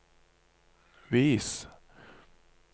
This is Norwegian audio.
vis